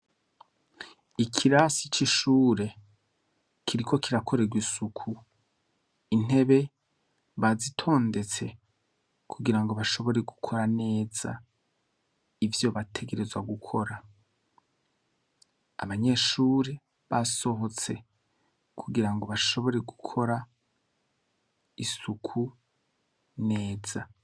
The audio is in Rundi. Ikirasi c'ishure kiriko kirakorerwa isuku, intebe bazitondetse kugirango bashobore gukora neza ivyo bategerezwa gukora. Abanyeshure basohotse kugirango bashobore gukora isuku neza.